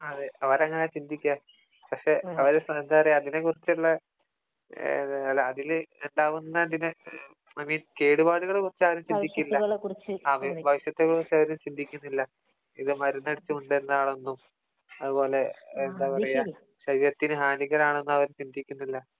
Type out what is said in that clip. ആ അതേ അവരങ്ങനാ ചിന്തിക്കാ പക്ഷേ എന്താ പറയാ അവര് അതിനെ കുറിച്ചുള്ള അതിലുണ്ടാകുന്നതിനെ ഐ മീൻ കേടുപ്പാടുകളെ കുറിച്ച് അവര് ചിന്തിക്കില്ല ഭവിഷ്യത്തുകളെ കുറിച്ച് അവര് ചിന്തിക്കില്ല ഇത് മരുന്ന് അടിച്ചു കൊണ്ട് വരുന്നതാണെന്നും അതുപോലെ എന്താ പറയാ ശരീരത്തിന് ഹാനികരമാണെന്നും അവര് ചിന്തിക്കുന്നില്ല